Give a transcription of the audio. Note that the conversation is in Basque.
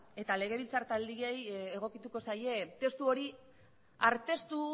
eta legebiltzar taldeei egokituko zaie testu hori arteztu